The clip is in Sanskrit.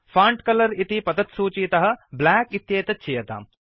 फोंट कलर इति पतत्सूचीतः ब्लैक इत्येतत् चीयताम्